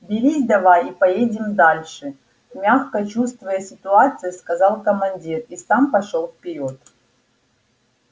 берись давай и поедем дальше мягко чувствуя ситуацию сказал командир и сам пошёл вперёд